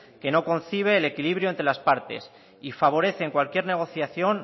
que no concibe el equilibrio entre las partes y favorece en cualquier negociación